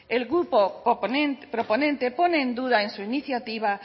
el grupo proponente pone en duda en su iniciativa